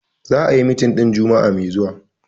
The meeting will be holding next week Friday.